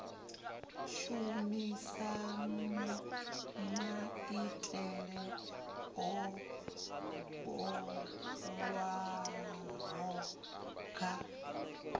shumisa maitele o bulwaho kha